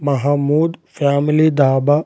Mahmood family dhaba .